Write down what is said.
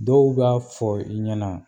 Dɔw b'a fɔ i ɲɛna